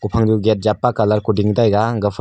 ophangnu gate japa colour kuding taiga gapha